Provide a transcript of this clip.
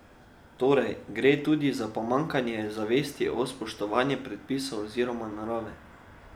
Torej gre tudi za pomanjkanje zavesti o spoštovanju predpisov oziroma narave.